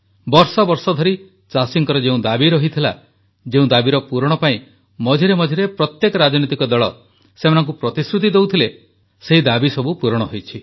ବର୍ଷବର୍ଷ ଧରି ଚାଷୀଙ୍କର ଯେଉଁ ଦାବି ରହିଥିଲା ଯେଉଁ ଦାବିର ପୂରଣ ପାଇଁ ମଝିମଝିରେ ପ୍ରତ୍ୟେକ ରାଜନୀତିକ ଦଳ ସେମାନଙ୍କୁ ପ୍ରତିଶ୍ରୁତି ଦେଉଥିଲେ ସେହି ଦାବି ପୂରଣ ହୋଇଛି